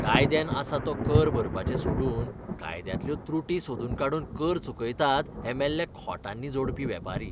कायद्यान आसा तो कर भरपाचें सोडून कायद्यांतल्यो त्रुटी सोदून काडून कर चुकयतात हे मेल्ले खोटांनी जोडपी वेपारी!